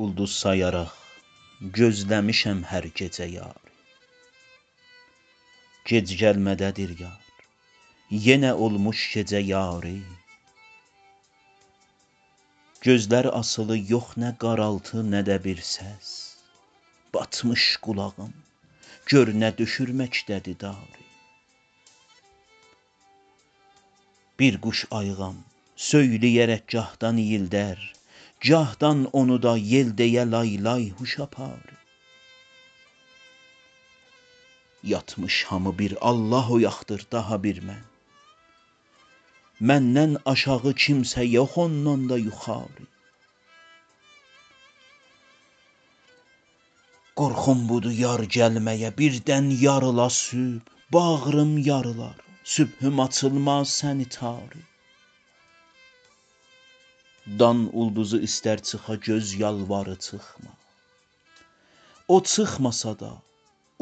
اولدوز سایاراق گوزله میشم هر گیجه یاری گج گلمه ده دیر یار یینه اولموش گیجه یاری گؤزلر آسیلی یوخ نه قارالتی نه ده بیر سس باتمیش قولاغیم گؤرنه دؤشور مکده دی داری بیر قوش آییغام سویلیه رک گاهدان اییلده ر گاهدان اونودا ییل دییه لای-لای هوش آپاری یاتمیش هامی بیر آللاه اویاقدیر داها بیر من مندن آشاغی کیمسه یوخ اوندان دا یوخاری قورخوم بودی یار گلمه یه بیردن یاریلا صبح باغریم یاریلار صبحوم آچیلما سنی تاری دان اولدوزی ایسته ر چیخا گؤز یالواری چیخما او چیخماسادا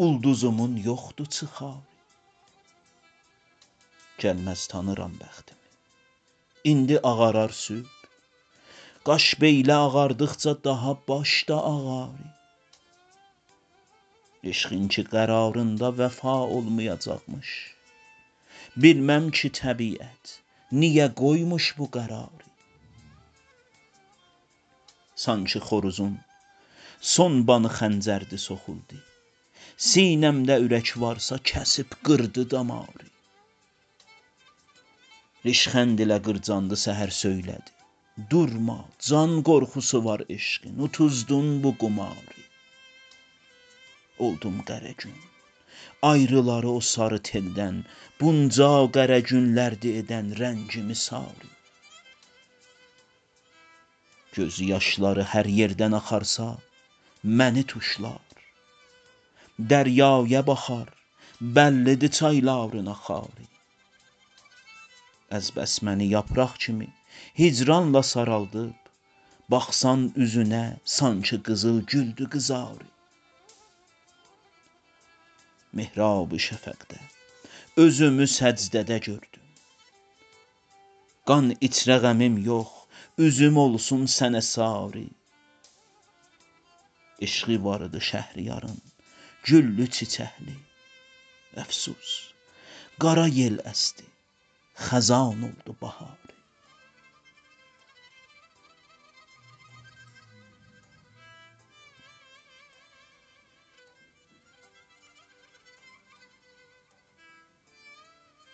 اولدوزومون یوخدی چیخاری گلمز تانیرام بختیمی ایندی آغارار صبح قاش بیله آغاردیقجا داها باش دا آغاری عشقین کی قراریندا وفا اولمیاجاقمیش بیلمم کی طبیعت نیه قویموش بو قراری سانکی خوروزون سون بانی خنجردی سوخولدی سینه مده أورک وارسا کسیب قیردی داماری ریشخندله قیرجاندی سحر سویله دی دورما جان قورخوسی وار عشقین اوتوزدون بو قماری اولدوم قره گون آیریلالی او ساری تیلدن بونجا قره گونلردی ایدن رنگیمی ساری گؤز یاشلاری هر ییردن آخارسا منی توشلار دریایه باخار بللی دی چایلارین آخاری از بس منی یاپراق کیمی هیجرانلا سارالدیب باخسان اوزونه سانکی قیزیل گولدی قیزاری محراب شفقده یوزومی سجده ده گؤردوم قان ایچره غمیم یوخ اوزوم اولسون سنه ساری عشقی واریدی شهریارین گللی- چیچکلی افسوس قارا یل اسدی خزان اولدی بهاری